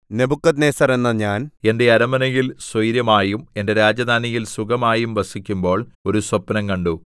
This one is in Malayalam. നെബൂഖദ്നേസർ എന്ന ഞാൻ എന്റെ അരമനയിൽ സ്വൈരമായും എന്റെ രാജധാനിയിൽ സുഖമായും വസിക്കുമ്പോൾ ഒരു സ്വപ്നം കണ്ടു